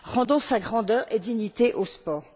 Rendons sa grandeur et sa dignité au sport!